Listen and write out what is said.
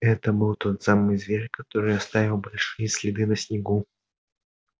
это был тот самый зверь который оставил большие следы на снегу